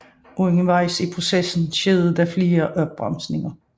Undervejs i processen skete der flere opbremsninger